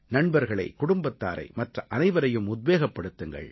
நண்பர்களை குடும்பத்தாரை மற்ற அனைவரையும் உத்வேகப்படுத்துங்கள்